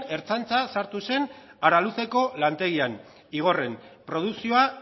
ertzaintza sartu araluceko lantegian igorren produkzioa